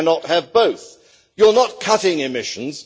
You cannot have both. You are not cutting emissions